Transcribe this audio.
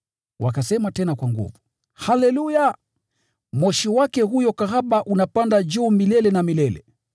Wakasema tena kwa nguvu: “Haleluya! Moshi wake huyo kahaba unapanda juu milele na milele.”